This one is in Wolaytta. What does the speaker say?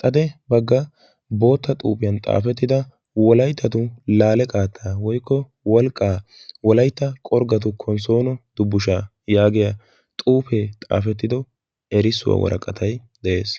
xade bagga bootta xuuphiyan xaafettida wolaitatu laale qaattaa woikko wolqqaa wolaitta qorggatu konssoono dubbushaa' yaagiya xuufee xaafettido erissuwaa waraqatai de7ees.